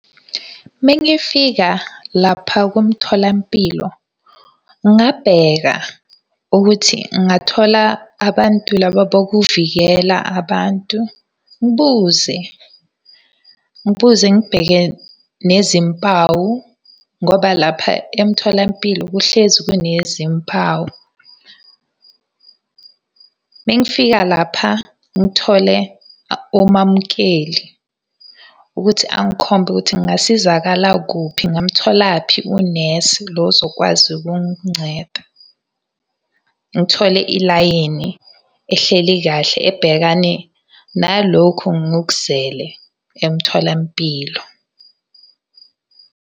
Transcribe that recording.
Uma ngifika lapha kumtholampilo, ngingabheka ukuthi ngingathola abantu laba bokuvikela abantu, ngibuze, ngibuze ngibheke nezimpawu ngoba lapha emtholampilo kuhlezi kunezimpawu. Uma ngifika lapha ngithole omamukeli ukuthi angikhombe ukuthi ngingasizakala kuphi ngingamutholaphi unesi lo zokwazi ukunginceda. Ngithole ilayini ehleli kahle ebhekane nalokhu engikuzele emtholampilo.